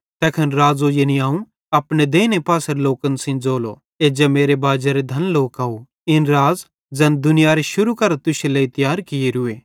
तैखन राज़ो यानी अवं अपने देइने पासेरे लोकन सेइं ज़ोलो एज्जा मेरे बाजेरे धन लोकव इन राज़ ज़ैन दुनियारे शुरू मां तुश्शे लेइ तियार कियोरूए